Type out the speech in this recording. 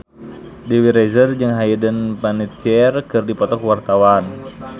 Dewi Rezer jeung Hayden Panettiere keur dipoto ku wartawan